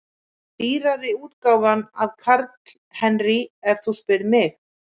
Dýrari útgáfan af Karl Henry ef þú spyrð mig.